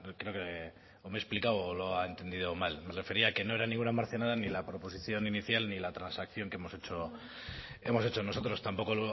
creo que o me he explicado o lo ha entendido mal me refería a que no era ninguna marcianada ni la proposición inicial ni la transacción que hemos hecho nosotros tampoco